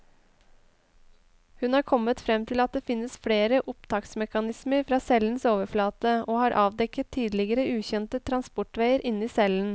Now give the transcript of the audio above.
Hun har kommet frem til at det finnes flere opptaksmekanismer fra cellens overflate, og har avdekket tidligere ukjente transportveier inni cellen.